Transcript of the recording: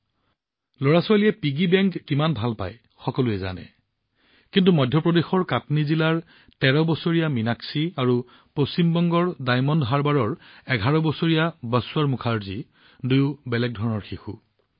আপুনি জানে যে লৰাছোৱালীয়ে মানি বেংক কিমান ভাল পায় কিন্তু কাটনি জিলাৰ সাংসদ ১৩ বছৰীয়া মীনাক্ষী আৰু পশ্চিম বংগৰ ডাইমণ্ড হাৰ্বাৰৰ ১১ বছৰীয়া বাশ্বৰ মুখাৰ্জী আনতকৈ দুটা বেলেগ লৰাছোৱালী